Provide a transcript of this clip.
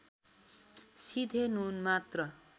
सिधे नुन मात्र